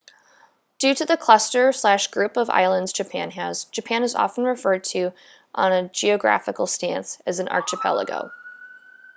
due to the cluster/group of islands japan has japan is often referred to on a geographical stance as an archipelago